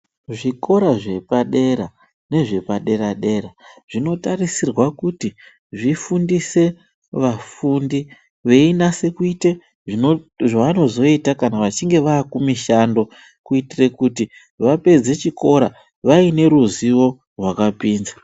Zvikora zvepadera nezvepadera dera zvinotarisirwa kuti zvifundise vafundi zvichinyase kuita vafundi zvavanozoita kana vachinge vakumishando kuitira kuti vapedze chikora vaine ruzivo rwakapinza.